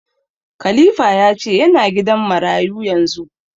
Khalifa ya ce ya na gidan marayu yanzu